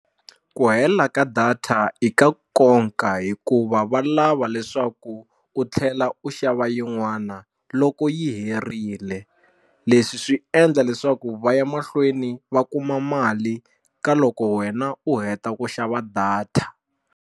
Ku hela ka data i ka nkoka hikuva va lava leswaku u tlhela u xava yin'wana loko yi herile leswi swi endla leswaku va ya mahlweni va kuma mali ka loko wena u heta ku xava data.